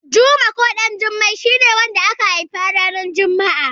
Juma ko Ɗanjuma shi ne wanda aka haifa ranar juma'a.